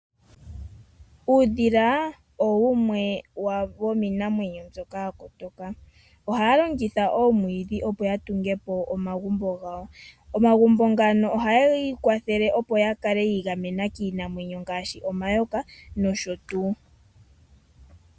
Uudhila owo wumwe womiinamwenyo mbyoka yakotoka ohawulongitha oomwiidhi opo wutungepo omagumbo gawo, omagumbo ngano oha geyiikwathele opo yakale yiigamena kiinamwenyo ngaashi omayoka nosho tuu.